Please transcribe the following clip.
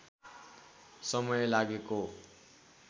समय लागेको